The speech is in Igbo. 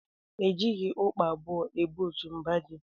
E jighị ukpa abụọ ebu otu mba ji